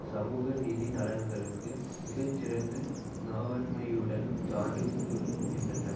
சமூக நிதி நலன்களுக்கு மிக சிறந்த நாவன்மையுடன் சான்று கூறுகின்றன